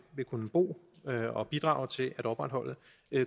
kunne bo og bidrage til at opretholde